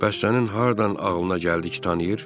Bəs sənin hardan ağlına gəldi ki, tanıyır?